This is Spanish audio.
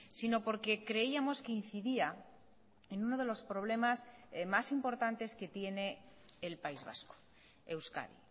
sino porque creíamos que incidía en uno de los problemas más importantes que tiene el país vasco euskadi